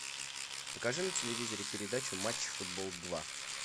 покажи на телевизоре передачу матч футбол два